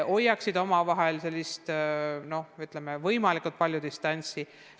Nii saaks omavahel võimalikult suurt distantsi hoida.